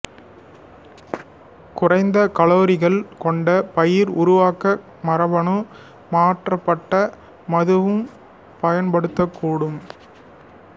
குறைந்த கலோரிகள் கொண்ட பியர் உருவாக்க மரபணு மாற்றப்பட்ட மதுவம் பயன்படுத்தக்கூடும்